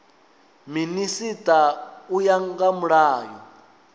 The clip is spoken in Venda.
minisita u ya nga mulayo